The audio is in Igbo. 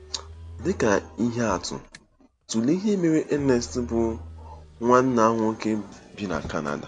Dị ka ihe atụ, tụlee ihe mere Ernest, bụ́ nwanna nwoke bi na Kanada.